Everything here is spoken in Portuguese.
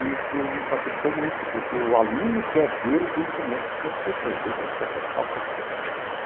E isto me facilitou muito, porque o aluno quer ver o conhecimento que o professor tem viu, ele quer testar o professor.